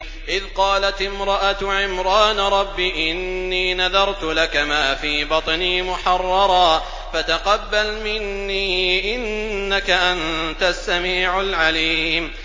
إِذْ قَالَتِ امْرَأَتُ عِمْرَانَ رَبِّ إِنِّي نَذَرْتُ لَكَ مَا فِي بَطْنِي مُحَرَّرًا فَتَقَبَّلْ مِنِّي ۖ إِنَّكَ أَنتَ السَّمِيعُ الْعَلِيمُ